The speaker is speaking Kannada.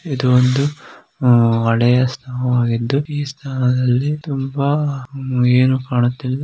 ಇದು ತುಂಬಾ ಹಳೆಯ ಸ್ಥಳವಾಗಿದ್ದು ಈ ಸ್ಥಳದಲ್ಲಿ ಏನು ಕಾಣುತ್ತದೆ.